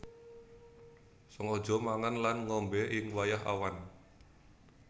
Sengaja mangan lan ngombé ing wayah awan